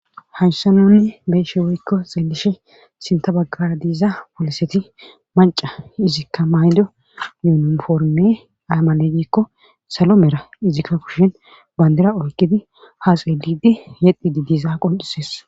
Hanhsha nunni beeshe woykko xeelishe sinta baggara diiza poliseti manca izikka maydo yunoforme aymale giikko salo mera izikka kushen bandira oyqidi haxedidi yexxidi diiza qoncisees